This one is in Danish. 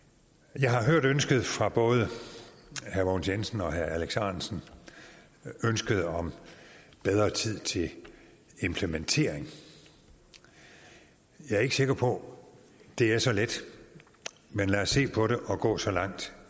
jeg har hørt ønsket fra både herre mogens jensen og herre alex ahrendtsen om bedre tid til implementeringen jeg er ikke sikker på at det er så let men lad os se på det og gå så langt